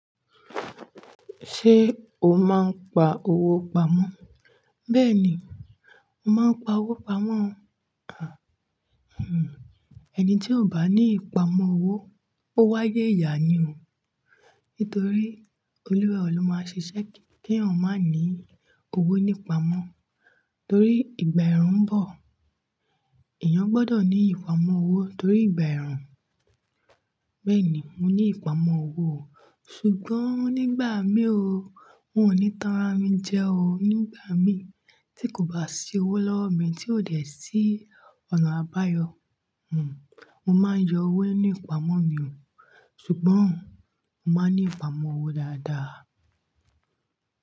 Ṣé o máa ń pa owó pamọ́? Bẹ́ẹ̀ ni, mo máa ń pa owó pamọ́. Àn, ẹni tí ò bá ní ìpamọ́ owó, ó wáyé ìyà ni o. Nítorí olúwà ẹ o le máa ṣiṣẹ́ kí èèyàn má ní owó nípamọ́, torí ìgbà ẹ̀rùn ń bọ̀. Èèyàn gbọ́dọ̀ ní ìpamọ́ owó torí ìgbà ẹ̀rùn. Bẹ́ẹ̀ ni, mo ní ìpamọ́ owó. Ṣùgbọ́n nígbà mí o, n ò ní tanra mi jẹ o. Nígbà mí tí kò bá sí owó lọ́wọ́ mi tí ò dẹ̀ sí ọ̀nà àbáyọ, mo máa ń yọ owó nípamọ́ mi o. Ṣùgbọ́n, mo máa ń ní ìpamọ́ owó dáadáa.